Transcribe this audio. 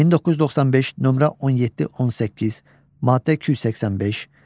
1995, nömrə 17-18, maddə 285.